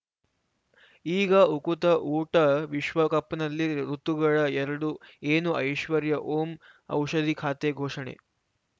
ಈಗ ಉಕುತ ಊಟ ವಿಶ್ವಕಪ್‌ನಲ್ಲಿ ಋತುಗಳು ಎರಡು ಏನು ಐಶ್ವರ್ಯಾ ಓಂ ಔಷಧಿ ಖಾತೆ ಘೋಷಣೆ